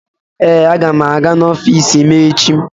Ee, aga m aga n'ọfiisi m echi.